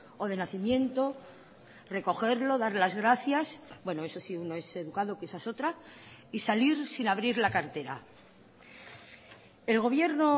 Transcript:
o de nacimiento recogerlo dar las gracias bueno eso si uno es educado que esa es otra y salir sin abrir la cartera el gobierno